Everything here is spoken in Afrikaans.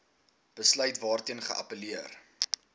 besluit waarteen geappelleer